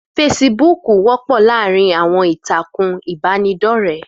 Feṣibúkù wọ́pọ̀ láàrin àwọn ìtàkùn ìbánidọ́rẹ́